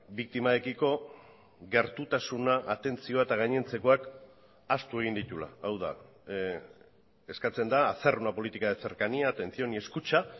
biktimarekiko gertutasuna atentzioa eta gainontzekoak ahaztu egin dituela hau da eskatzen da hacer una política de cercanía atención y escucha